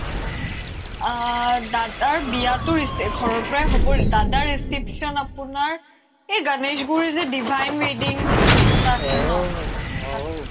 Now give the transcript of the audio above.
আ দাদাৰ বিয়াতো দিছে ঘৰৰ পৰাই হ'ব দাদাৰ reception আপোনাৰ সেই গণেশগুৰিৰ যে divine wedding এটা আছে ন তাতে